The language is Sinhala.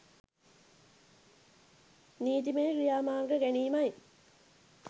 නීතිමය ක්‍රියාමාර්ග ගැනීමයි.